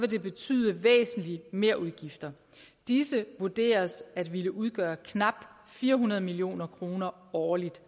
det betyde væsentlige merudgifter disse vurderes at ville udgøre knap fire hundrede million kroner årligt